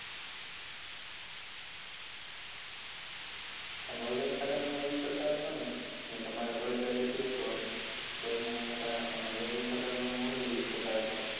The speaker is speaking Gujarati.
તમે organic ખાતરનો પણ use હશો ને. કેમ કે તમારે બળદગાડું છે તો બળદને એના કારણે તમે organic